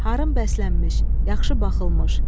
Harın bəslənmiş, yaxşı baxılmış.